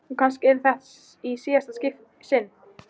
Og kannski yrði þetta í síðasta sinn.